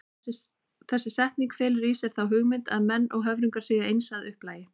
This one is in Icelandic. Þessi setning felur í sér þá hugmynd að menn og höfrungar séu eins að upplagi.